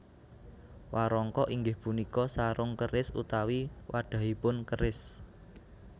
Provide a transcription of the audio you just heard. Warangka inggih punika sarung keris utawi wadhahipun keris